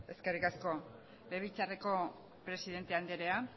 eskerrik asko legebiltzarreko presidente anderea